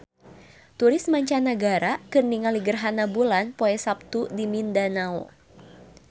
Turis mancanagara keur ningali gerhana bulan poe Saptu di Mindanao